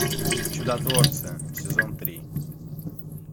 чудотворцы сезон три